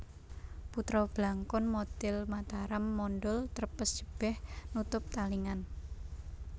Putra Blangkon modhel Mataram mondhol trepes jebeh nutup talingan